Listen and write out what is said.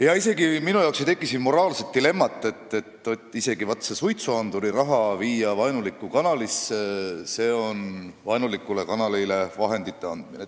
Ja minu jaoks ei teki siin isegi moraalset dilemmat, kas see, kui viia suitsuandurireklaami raha vaenulikku kanalisse, on vaenulikule kanalile vahendite andmine.